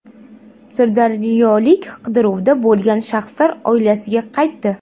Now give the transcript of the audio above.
Sirdaryolik qidiruvda bo‘lgan shaxslar oilasiga qaytdi.